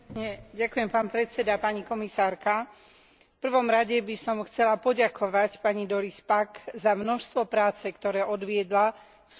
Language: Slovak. V prvom rade by som chcela poďakovať pani Doris Packovej za množstvo práce, ktoré odviedla v súvislosti s reformou programu Erasmus.